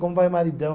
Como vai o maridão?